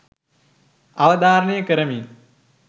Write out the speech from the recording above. අවධාරණය කරමි